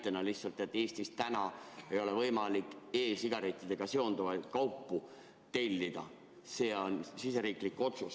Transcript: Toon lihtsalt näite, et Eestis ei ole võimalik e‑sigarettidega seonduvaid kaupu tellida, see on siseriiklik otsus.